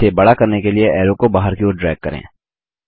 इसे बड़ा करने के लिए एरो को बाहर की ओर ड्रैग करें